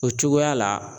O cogoya la